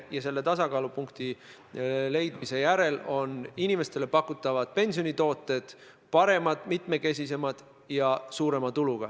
Ja selle tasakaalupunkti leidmise järel on inimestele pakutavad pensionitooted paremad, mitmekesisemad ja toodavad suuremat tulu.